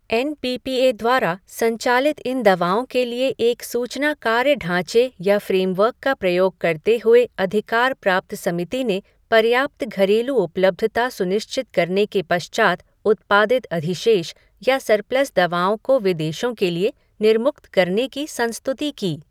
N P P A द्वारा संचालित इन दवाओं के लिए एक सूचना कार्य ढांचे या फ़्रेमवर्क का प्रयोग करते हुए अधिकार प्राप्त समिति ने पर्याप्त घरेलू उपलब्धता सुनिश्चित करने के पश्चात उत्पादित अधिशेष या सरप्लस दवाओं को विदेशों के लिए निर्मुक्त करने की संस्तुति की।